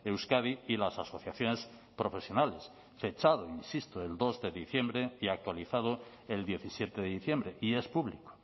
euskadi y las asociaciones profesionales fechado insisto el dos de diciembre y actualizado el diecisiete de diciembre y es público